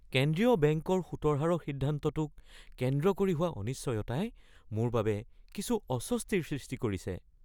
কেন্দ্ৰীয় বেংকৰ সুতৰ হাৰৰ সিদ্ধান্তটোক কেন্দ্ৰ কৰি হোৱা অনিশ্চয়তাই মোৰ বাবে কিছু অস্বস্তিৰ সৃষ্টি কৰিছে।